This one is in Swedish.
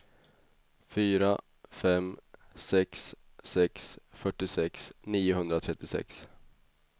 fyra fem sex sex fyrtiosex niohundratrettiosex